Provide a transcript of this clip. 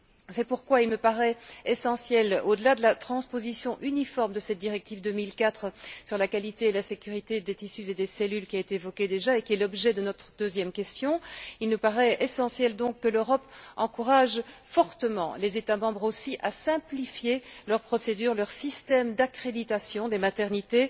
C'est pourquoi il me paraît essentiel, au delà de la transposition uniforme de cette directive de 2004 sur la qualité et la sécurité des tissus et des cellules qui a été évoquée déjà, et qui est l'objet de notre deuxième question, il nous paraît essentiel donc que l'Europe encourage fortement les États membres à simplifier leurs procédures et leurs systèmes d'accréditation des maternités.